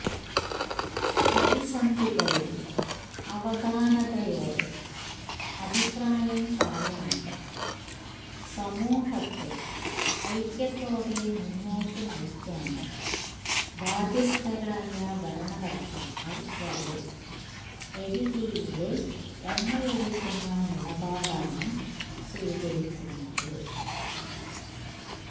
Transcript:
പ്രതിസന്ധികളില് അവധാനതയോടെ അഭിപ്രായം പറയാനും സമൂഹത്തെ ഐക്യത്തോടെ മുന്നോട്ടു നയിക്കാനും ബാധ്യസ്ഥരായ ഭരണകര്ത്താക്കള് വരെ എരിതീയില് എണ്ണയൊഴിക്കുന്ന നിലപാടാണ് സ്വീകരിക്കുന്നത്